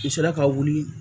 U sera ka wuli